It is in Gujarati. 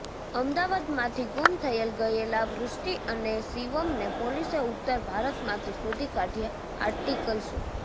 અમદાવાદમાંથી ગુમ થઈ ગયેલા વૃષ્ટિ અને શિવમને પોલીસે ઉત્તર ભારતમાંથી શોધી કાઢ્યા આર્ટિકલ શો